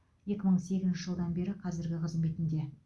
екі мың сегізінші жылдан бері қазіргі қызметінде